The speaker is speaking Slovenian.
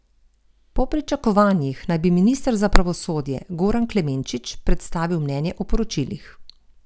Po pričakovanjih naj bi minister za pravosodje Goran Klemenčič predstavil mnenje o poročilih.